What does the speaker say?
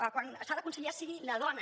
que quan s’ha de conciliar sigui la dona